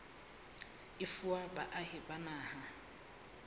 e fuwa baahi ba naha